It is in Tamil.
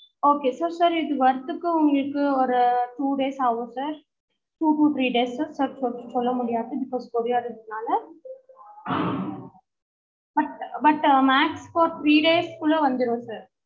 okay sir sir இது வரதுக்கு உங்களுக்கு ஒரு two days ஆகும் sir two to three days ச சொ சொல்லமுடியாது because courier னால but but max for three days குள்ள வந்துரும் sir